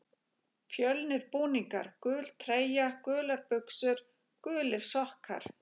Fjölnir Búningar: Gul treyja, gular buxur, gulir sokkar.